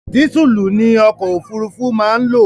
Dísùlù ni ọkò òfurufú má ń lò.